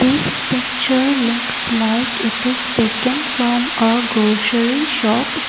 this picture looks like it is taken from a grocery shop.